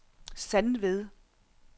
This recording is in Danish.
Sandved